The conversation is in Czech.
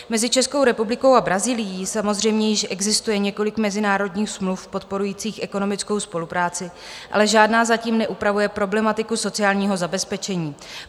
Mezi Českou republikou a Brazílií samozřejmě již existuje několik mezinárodních smluv podporujících ekonomickou spolupráci, ale žádná zatím neupravuje problematiku sociálního zabezpečení.